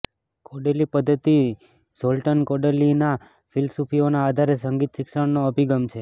Kodaly પદ્ધતિ Zoltan કોડાલીના ફિલસૂફીઓના આધારે સંગીત શિક્ષણનો અભિગમ છે